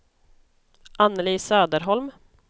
Anneli Söderholm